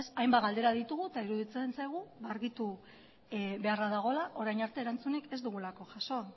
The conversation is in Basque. hainbat galdera ditugu eta iruditzen zaigu argitu beharra dagoela orain arte erantzunik ez dugulako jaso